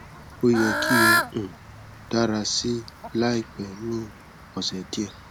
o yẹ ki o um dara si laipẹ ni ọsẹ diẹ